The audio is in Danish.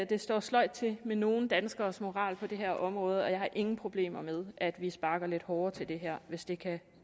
det står sløjt til med nogle danskeres moral på det her område og jeg har ingen problemer med at vi sparker lidt hårdere til det her hvis det kan